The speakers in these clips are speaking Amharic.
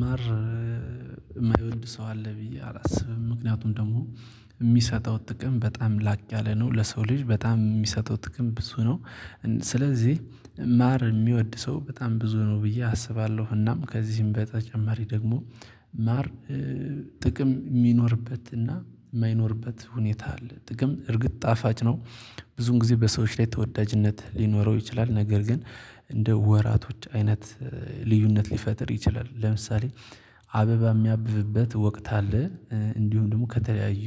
ማር የማይወድ ሰው አለ ብዬ አላስብም ምክንያቱም ደግሞ የሚሰጠው ጥቅም በጣም ላቅ ያለ ነው ለሰው ልጅ በጣም የሚሰጠው ጥቅም ብዙ ነው። ስለዚህ ማር ሚወድ ሰው በጣም ብዙ ነው ብዬ አስባለሁ። እናም ከዚህም በተጨማሪ ደግሞ ማር ጥቅም ሚኖርበትና ማይኖርበት ሁኔታ አለ ጥቅም እርግጥ ጣፋጭ ነው። ብዙን ጊዜ በሰዎች ላይ ተወዳጅነት ሊኖረው ይችላል። ነገር ግን እንደ ወራቶች አይነት ልዩነት ሊፈጥር ይችላል። ለምሳሌ አበባ ሚያብብበት ወቅት አለ። እንዲሁም ደግሞ ከተለያዩ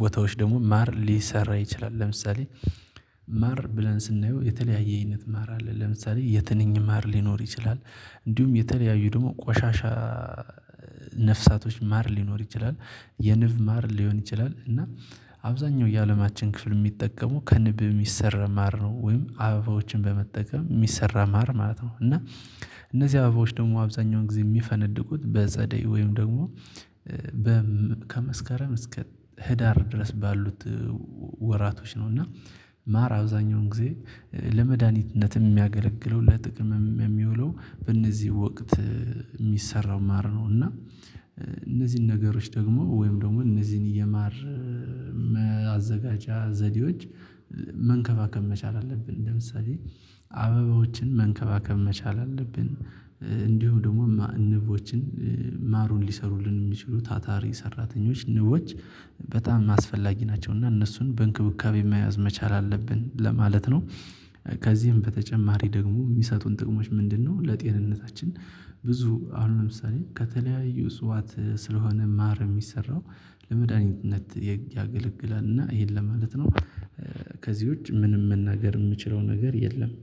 ቦታዎች ደግሞ ማር ሊሰራ ይችላል። ለምሳሌ ማር ብለን ስናየው የተለያየ አይነት ማር አለ። ለምሳሌ የትንኝ ማር ሊኖር ይችላል። እንዲሁም የተለያዩ ደግሞ ቆሻሻ ነፍሳቶች ማር ሊኖር ይችላል የንብ ማር ሊሆን ይችላል። እና አብዛኛው የአለማችን ክፍል ሚጠቀሙ ከንብ ሚሰራ ማር ነው ወይም አበዎችን በመጠቀም ሚሰራ ማር ማለት ነው። እና እነዚህ አበባዎች ደግሞ አብዛኛውን ጊዜ የሚፈነድቁት በጸደይ ወይም ደግሞ ከመስከረም እስከ ህዳር ድረስ ባሉት ወራቶች ነው። እና ማር አብዛኛውን ጊዜ ለመድሃኒትነትም የሚያገለግለው ለጥቅምም የሚውለው በእነዚህ ወቅት የሚሰራው ማር ነው። እና እነዚህን ነገሮች ደግሞ ወይም ደግሞ እነዚህን የማር መዘጋጃ ዘዴዎች መንከባከብ መቻል አለብን። ለምሳሌ አበባዎችን መንከባከብ መቻል አለብን። እንዲሁ ደግሞ ንቦችን ማሩን ሊሰሩልን ሚችሉ ታታሪ ሰራተኞች ንቦች በጣም አስፈላጊ ናቸው። እና እነሱን በእንክብካቤ መያዝ መቻል አለብን ለማለት ነው። ከዚህም በተጨማሪ ደግሞ ሚሰጡን ጥቅሞች ምንድነው? ለጤንነታችን ብዙ አሁን ለምሳሌ ከተለያዩ እጽዋት ስለሆነ ማር ሚሰራው ለመድኃኒትነት ያገለግላል። እና ይሄን ለማለት ነው። ከዚህ ውጪ ምንም መናገር የምችለው ነገር የለም